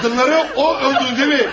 Qadınları o öldürdü, deyilmi?